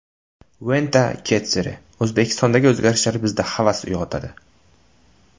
Venta Kotsere: O‘zbekistondagi o‘zgarishlar bizda havas uyg‘otadi.